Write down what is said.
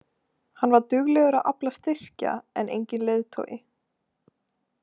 Hann var duglegur að afla styrkja en enginn leiðtogi.